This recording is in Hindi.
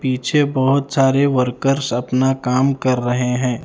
पीछे बहोत सारे वर्क्स अपना काम कर रहे हैं।